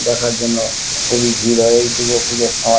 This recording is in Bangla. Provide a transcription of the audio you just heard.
দেখার জন্য খুবই ভিড় হয় এই দূর্গার পুজোর সময়।